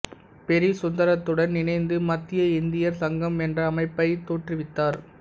பெரி சுந்தரத்துடன் இணைந்து மத்திய இந்தியர் சங்கம் என்ற அமைப்பைத் தோற்றுவித்தார்